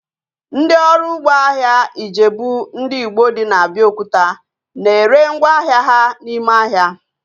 Ndị ọrụ ugbo ahịa Ijebu ndị Igbo dị na Abiokuta na ere ngwá ahịa ha n'ime ahịa